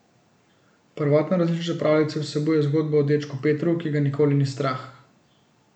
Prvotna različica pravljice vsebuje zgodbo o dečku Petru, ki ga nikoli ni strah.